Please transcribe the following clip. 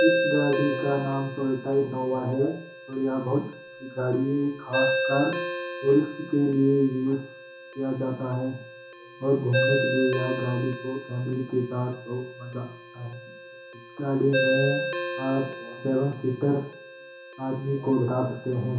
इस गाड़ी का नाम टोयोटा इन्नोवा है और यह बहुत गाड़ी ख़ास कर टूरिस्ट के लिए यूज़ किया जाता है और घूमने के लिए यह गाड़ी को फ़ैमिली के साथ बहुत मज़ा आये इस गाड़ी में आप सेवन सीटर आदमी को बिठा सकते हैं।